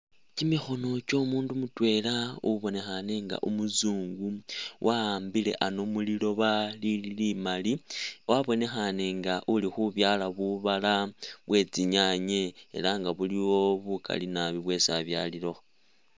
Kyimikhono kyo mundu mutwela ubonekhane nga umuzungu, wa'ambile ano muliloba lili limali wabonekhane nga uli khubyala bubala bwe tsinyanye era nga buliwo bukali nabi bwesi abyalilekho.